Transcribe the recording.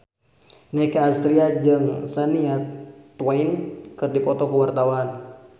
Nicky Astria jeung Shania Twain keur dipoto ku wartawan